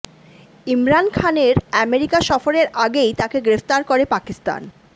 ইমরান খানের আমেরিকা সফরের আগেই তাকে গ্রেফতার করে পাকিস্তান